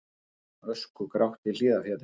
Öskugrátt í Hlíðarfjalli